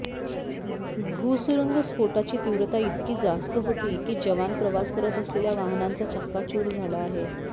भूसुरुंग स्फोटाची तीव्रता इतकी जास्त होती की जवान प्रवास करत असलेल्या वाहनाचा चक्काचूर झाला आहे